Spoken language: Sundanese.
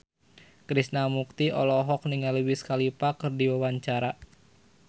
Krishna Mukti olohok ningali Wiz Khalifa keur diwawancara